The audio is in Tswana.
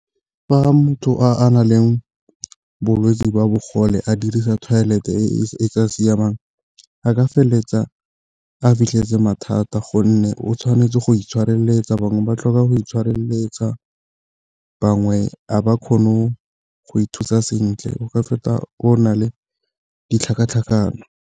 Fa motho a na le bolwetsi jwa bogole a dirisa toilet-e e e sa siamang a ka feleletsa a fitlheletse mathata gonne o tshwanetse go itshireletsa bangwe ba tlhoka go itshireletsa, bangwe a ba kgono go ithusa sentle o ka feta le ditlhakatlhakano.